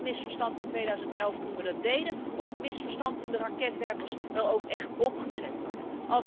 Zat het misverstand in 2011 toen we dat deden, of was het een misverstand toen de raketwerpers er ook echt opgezet werden?